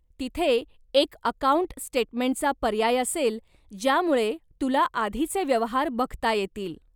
तिथे एक अकाऊंट स्टेटमेंटचा पर्याय असेल ज्यामुळे तुला आधीचे व्यवहार बघता येतील.